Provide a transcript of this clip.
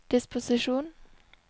disposisjon